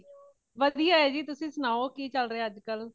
ਵਧੀਆ ਹੈ ਜੀ ਤੁਸੀਂ ਸੁਣਾਓ ਕਿ ਚੱਲ ਰਹਿਆ ਹੈ ਅੱਜ ਕਲ